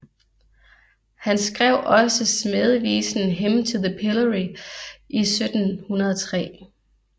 Han skrev også smædevisen Hymn To The Pillory i 1703